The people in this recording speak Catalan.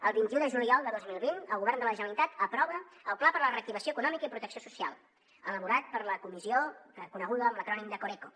el vint un de juliol de dos mil vint el govern de la generalitat aprova el pla per a la reactivació econòmica i protecció social elaborat per la comissió coneguda amb l’acrònim de coreco